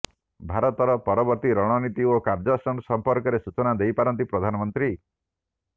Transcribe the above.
ଭାରତର ପରବର୍ତ୍ତୀ ରଣନୀତି ଓ କାର୍ୟ୍ୟାନୁଷ୍ଠାନ ସମ୍ପର୍କରେ ସୂଚନା ଦେଇପାରନ୍ତି ପ୍ରଧାନମନ୍ତ୍ରୀ